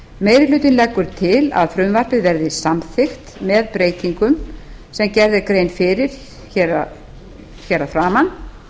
meiri hlutinn leggur til að frumvarpið verði samþykkt með breytingum sem gerð er grein fyrir að framan